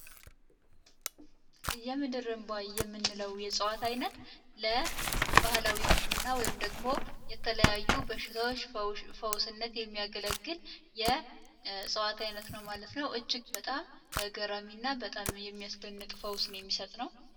እየምድርንቧይ እየነው። ለው የጸዋት ዓይነት ለባህላዊ ሕክምእና ወይም ደግሞ የተለያዩ በሽታዎች ፈውስነት የሚያገለግል የጸዋት ዓይነት ነው ማለት ነው እጅግ በጣም እገረሚ እና በጣም የሚያስልንቅ ፈውስን የሚሰጥ ነው